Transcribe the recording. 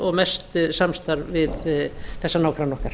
og mest samstarf við þessa nágranna okkar